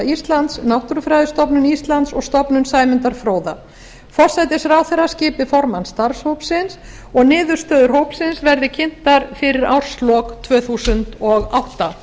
íslands náttúrufræðistofnun íslands og stofnun sæmundar fróða forsætisráðherra skipi formann starfshópsins niðurstöður hópsins verði kynntar alþingi fyrir árslok tvö þúsund og átta